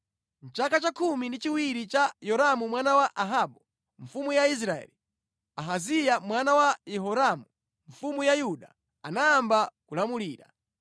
Mʼchaka cha khumi ndi chiwiri cha Yoramu mwana wa Ahabu mfumu ya Israeli, Ahaziya mwana wa Yehoramu mfumu ya Yuda anayamba kulamulira.